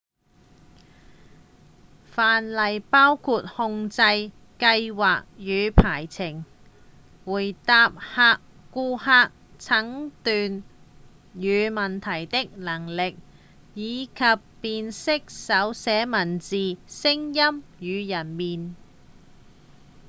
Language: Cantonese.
範例包含控制、計畫與排程回答顧客診斷與問題的能力以及辨識手寫文字、聲音與人臉